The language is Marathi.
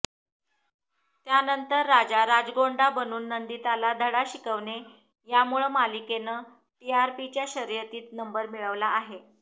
त्यानंतर राजा राजगोंडा बनून नंदिताला धडा शिकवणे यांमुळं मालिकेनं टीआरपीच्या शर्यतीतही नंबर मिळवला होता